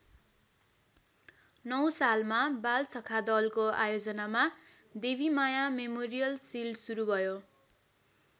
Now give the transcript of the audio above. नौ सालमा बालसखा दलको आयोजनामा देवीमाया मेमोरियल सिल्ड सुरू भयो।